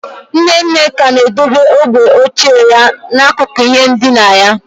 Nne nne ka na-edobe ogwe ochie ya n'akụkụ ihe ndina ya.